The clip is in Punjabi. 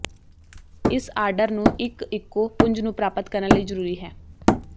ਇਸ ਆਰਡਰ ਨੂੰ ਇੱਕ ਇਕੋ ਪੁੰਜ ਨੂੰ ਪ੍ਰਾਪਤ ਕਰਨ ਲਈ ਜ਼ਰੂਰੀ ਹੈ